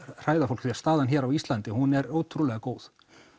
hræða fólk því staðan hér á Íslandi hún er ótrúlega góð